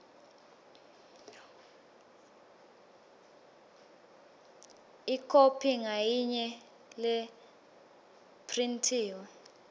ikhophi ngayinye lephrintiwe